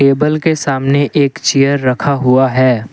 Table के सामने एक चेयर रखा हुआ है।